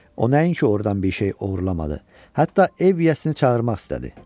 O nəinki ordan bir şey oğurlamadı, hətta ev yəsini çağırmaq istədi.